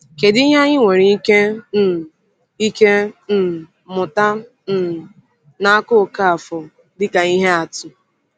Kedu ihe anyị nwere ike um ike um mụta um n’aka Okafor dịka ihe atụ?